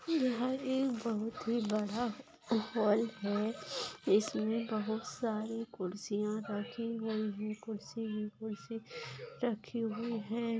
यहाँ एक बहुत ही बडा हॉल है इसमे बहुत सारी खुर्सिया रखी हुई है खुर्ची मे खुर्ची रखी हुई है।